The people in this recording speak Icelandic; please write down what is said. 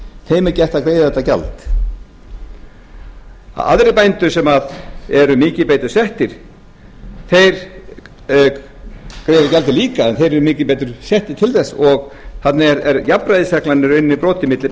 þeim er gert að greiða þetta gjald aðrir bændur sem eru mikið betur settir greiða gjaldið líka en þeir eru mikið betur settir til þess og þar með er jafnræðisreglan í rauninni brotin milli